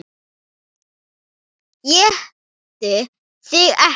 ÉTI ÞIG EKKI!